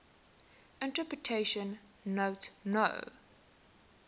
interpretation note no